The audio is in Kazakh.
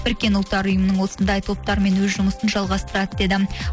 біріккен ұлттар ұйымының осындай топтармен өз жұмысын жалғастырады деді